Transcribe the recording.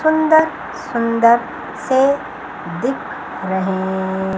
सुंदर सुंदर से दिख रहे।